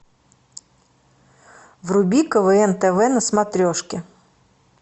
вруби квн тв на смотрешке